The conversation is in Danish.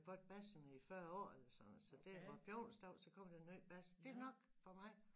Fået Basserne i 40 år eller sådan noget så det hver onsdag så kommer der nye Basserne det nok for mig